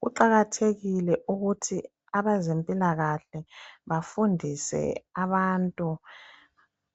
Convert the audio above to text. Kuqakathekile ukuthi abazempilakahle bafundise abantu